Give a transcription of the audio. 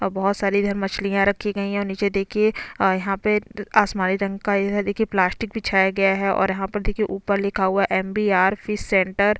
और बहुत सारी इधर मछलियां रखी गई हैं और निचे देखिये यहाँ पे आसमानी रंग का इधर देखिये प्लास्टिक बिछाया गया हैं और यहाँ पर देखिये ऊपर लिखा हुआ है M B R fish centre --